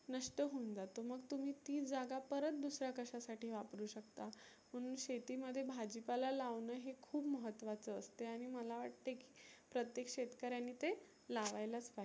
नष्ट होऊन जातो मग तुम्ही ती जागा परत दुसऱ्या कशा साठी वापरु शकता. पुर्ण शेती मध्ये भाजी पाला लावनंं हे खुप महत्वाचं असतं. आणि मला वाटते प्रत्येक शेतकऱ्यानी ते लावायलाच पाहीजे